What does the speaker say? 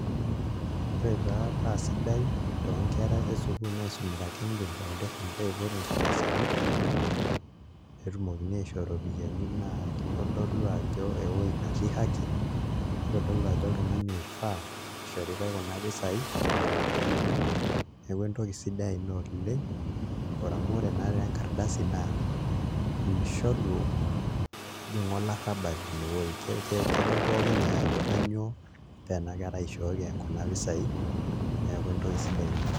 Ore taa paa sidai toonkera esukuul naisumita Kengen Foundation peiput nkardasini pee etumokini aishoo iropiyiani naa kitodolu ajo ewuei naatii haki nitodolu ajo oltung'ani oifaa ishoritai kuna pisaai, kuna ropiyiani neeku entoki sidai ina oleng' amu ore naatoi enkardasi naa mishoru ejing' olarrabal inewueji, kedol pooki ng'ae ajo kainyioo paa ena kerai ishooki kuna pisaai, neeku entoki sidai ina.